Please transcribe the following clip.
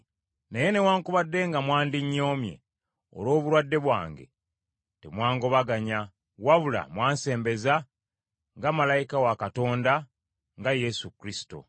Naye newaakubadde nga mwandinnyomye olw’obulwadde bwange, temwangobaganya, wabula mwansembeza nga malayika wa Katonda, nga Yesu Kristo.